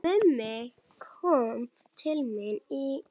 Mummi kom til mín í